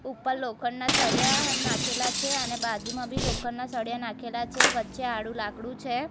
ઉપર લોખંડના સળિયા નાખેલા છે અને બાજુમાં બી લોખંડના સળિયા નાખેલા છે વચ્ચે આડું લાકડું છે.